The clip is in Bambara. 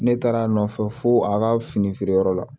Ne taara a nɔfɛ fo a ka fini feereyɔrɔ la